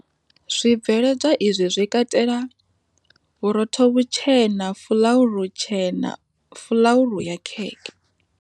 Zwibveledzwa izwi zwi katela, Vhurotho vhutshena Fulauru tshena, Fulauru ya khekhe.